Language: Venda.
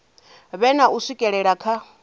vhe na u swikelela kha